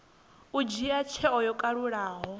u dzhia tsheo yo kalulaho